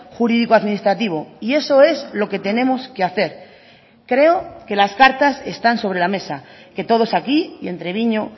jurídico administrativo y eso es lo que tenemos que hacer creo que las cartas están sobre la mesa que todos aquí y en treviño